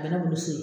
A bɛ ne bolo so